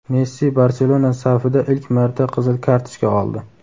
Messi "Barcelona" safida ilk marta qizil kartochka oldi.